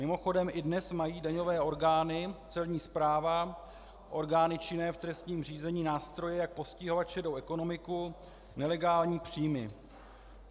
Mimochodem i dnes mají daňové orgány, celní správa, orgány činné v trestním řízení nástroje, jak postihovat šedou ekonomiku, nelegální příjmy.